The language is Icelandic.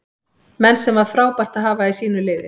Menn sem var frábært að hafa í sínu liði.